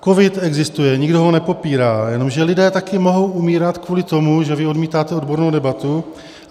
Covid existuje, nikdo ho nepopírá, jenomže lidé taky mohou umírat kvůli tomu, že vy odmítáte odbornou debatu.